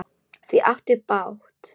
Þau áttu bágt!